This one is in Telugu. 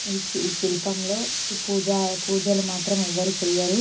ఈ శి శిల్పంలో పూజ పూజలు మాత్రం ఎవరు చేయరు.